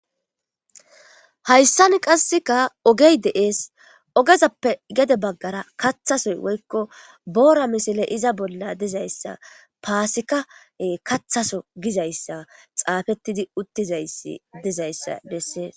hayssan qasseka ogey de7ees ogezappe gede baggara kathasoy woykko boora misile iza bolla dizayssa paasikae kathaso gizayssa xaafettidi uttizayi dizayssa dessees